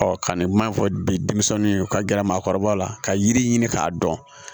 ka nin kuma in fɔ bi denmisɛnninw ye u ka gɛrɛ maakɔrɔba la ka yiri ɲini k'a dɔn